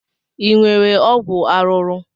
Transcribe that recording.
Ị nwere ọgwụ arụrụ?